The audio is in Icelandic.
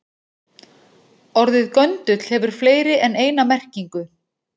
Orðið göndull hefur fleiri en eina merkingu.